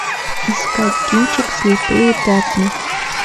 искать кинчик слепые пятна